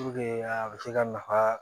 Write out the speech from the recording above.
a bɛ se ka nafa